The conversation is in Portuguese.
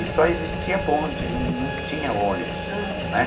E só existia bonde, não não tinha ônibus, uhum, né?